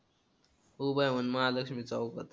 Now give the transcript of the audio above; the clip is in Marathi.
उभा आहे म्हण. महालक्ष्मी चौकात